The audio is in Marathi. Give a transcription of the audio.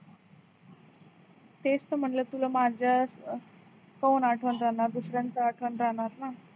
तेच तर म्हणल तुला माझ काऊन आठवण राहणार दुसऱ्यांच आठवण राहणार न